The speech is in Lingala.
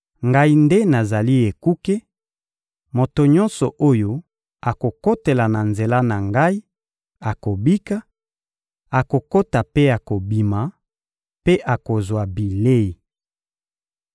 Ngai nde nazali ekuke; moto nyonso oyo akokotela na nzela na Ngai akobika; akokota mpe akobima, mpe akozwa bilei.